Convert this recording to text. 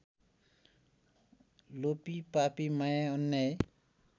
लोभीपापी माया अन्याय